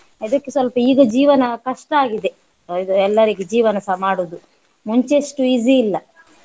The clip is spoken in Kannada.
ಅದಕ್ಕೆ ಸ್ವಲ್ಪ ಈಗ ಜೀವನ ಕಷ್ಟಾಗಿದೆ ಇದು ಎಲ್ಲರಿಗೂ ಜೀವನ ಸಹ ಮಾಡುದು ಮುಂಚೆ ಅಷ್ಟು easy ಇಲ್ಲ.